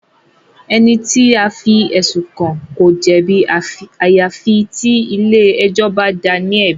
Ẹni tí a fí ẹ̀sùn kàn ko jẹ̀bi àyàfi tí ilé ẹjọ́ bá dáa ní ẹ̀bi.